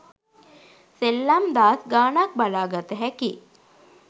සෙල්ලම් දාස් ගානක් බලා ගතහැකි.